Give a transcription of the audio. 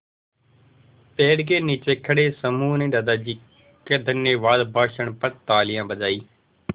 पेड़ के नीचे खड़े समूह ने दादाजी के धन्यवाद भाषण पर तालियाँ बजाईं